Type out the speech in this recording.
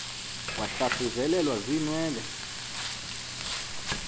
wahlathu zelelwa ziinwele